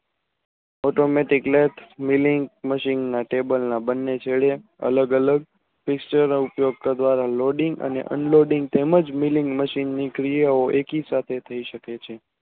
બને છેડે અલગ વલય તે ઉપયોગ દ્વારા તેમજ મિલી મશીનની ક્રિયા એકી સાથે થાય શકે છે